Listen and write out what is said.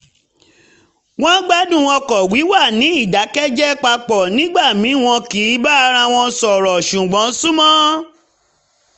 wọ́n ń gbádùn ọkọ̀ wíwà ní ìdákẹ́jẹ́ papọ̀ nígbà míì wọn kì í bára wọn sọ̀rọ̀ ṣùgbọ́n súnmọ́